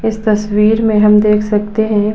इस तस्वीर में हम देख सकते हैं।